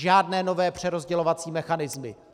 Žádné nové přerozdělovací mechanismy.